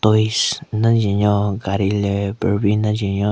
Toys den jwen nyo gaari le barbie nden jwen nyo.